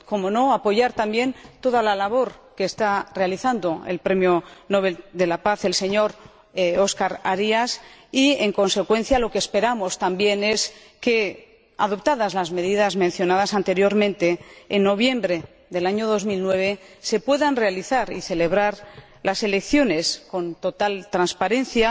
Cómo no, apoyamos también toda la labor que está realizando el Premio Nobel de la Paz, el señor Óscar Arias, y, en consecuencia, lo que esperamos también es que, adoptadas las medidas mencionadas anteriormente, en noviembre del año 2009 se puedan realizar y celebrar las elecciones con total transparencia,